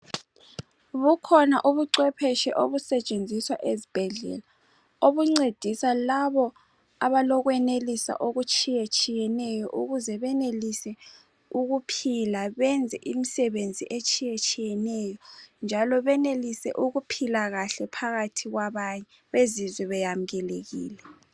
Bukhona ubucwephetshe obusetshenziswa ezibhedlela obuncedisa labo abalokwenelisa okutshiyetshiyeneyo ukuze benelise ukuphila benze imisebenzi etshiyetshiyeneyo njalo benelise ukuphila kahle phakathi kwabanye bezizwe beyamukelekile.